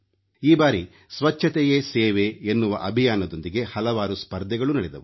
ಈ ಬಾರಿ ಸ್ವಚ್ಛತೆಯೇ ಸೇವೆ ಎನ್ನುವ ಅಭಿಯಾನದೊಂದಿಗೆ ಹಲವಾರು ಸ್ಪರ್ಧೆಗಳೂ ನಡೆದವು